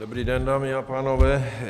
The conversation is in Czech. Dobrý den, dámy a pánové.